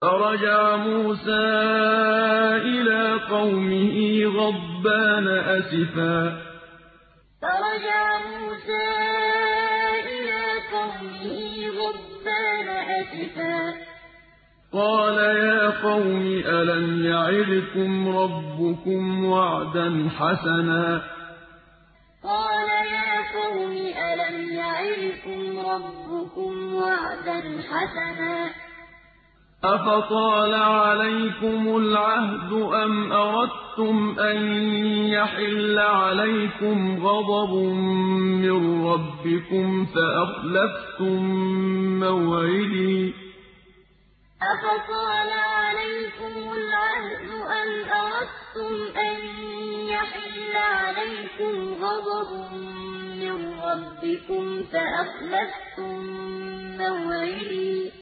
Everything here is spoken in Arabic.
فَرَجَعَ مُوسَىٰ إِلَىٰ قَوْمِهِ غَضْبَانَ أَسِفًا ۚ قَالَ يَا قَوْمِ أَلَمْ يَعِدْكُمْ رَبُّكُمْ وَعْدًا حَسَنًا ۚ أَفَطَالَ عَلَيْكُمُ الْعَهْدُ أَمْ أَرَدتُّمْ أَن يَحِلَّ عَلَيْكُمْ غَضَبٌ مِّن رَّبِّكُمْ فَأَخْلَفْتُم مَّوْعِدِي فَرَجَعَ مُوسَىٰ إِلَىٰ قَوْمِهِ غَضْبَانَ أَسِفًا ۚ قَالَ يَا قَوْمِ أَلَمْ يَعِدْكُمْ رَبُّكُمْ وَعْدًا حَسَنًا ۚ أَفَطَالَ عَلَيْكُمُ الْعَهْدُ أَمْ أَرَدتُّمْ أَن يَحِلَّ عَلَيْكُمْ غَضَبٌ مِّن رَّبِّكُمْ فَأَخْلَفْتُم مَّوْعِدِي